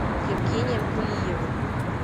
евгением кулиевым